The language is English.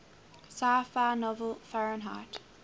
sci fi novel fahrenheit